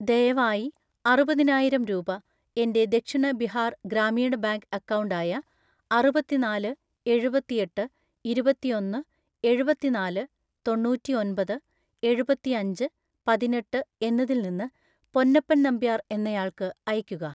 ദയവായി അറുപതിനായിരം രൂപ എൻ്റെ ദക്ഷിണ ബിഹാർ ഗ്രാമീണ ബാങ്ക് അക്കൗണ്ട് ആയ അറുപത്തിനാല് എഴുപത്തിയെട്ട് ഇരുപത്തിയൊന്ന് എഴുപത്തിനാല് തൊണ്ണൂറ്റിഒൻപത് എഴുപത്തിയഞ്ച് പതിനെട്ട് എന്നതിൽ നിന്ന് പൊന്നപ്പൻ നമ്പ്യാർ എന്നയാൾക്ക് അയക്കുക.